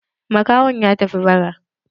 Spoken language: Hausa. Makahon ya tafi bara.